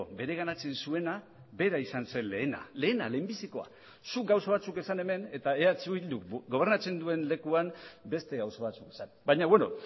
bereganatzen zuena bera izan zen lehena lehena lehenbizikoa zuk gauza batzuk esan hemen eta eh bilduk gobernatzen duen lekuan beste gauza batzuk esan baina beno